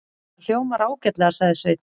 Það hljómar ágætlega, sagði Sveinn.